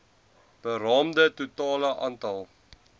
beraamde totale aantal